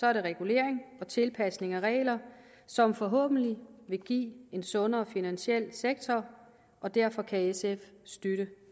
er det regulering og tilpasning af regler som forhåbentlig vil give en sundere finansiel sektor og derfor kan sf støtte